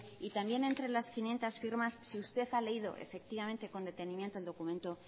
y también entre las quinientos firmas si usted ha leído efectivamente con detenimiento el documento